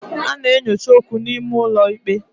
A na-enyocha okwu n'ime ụlọ ikpe.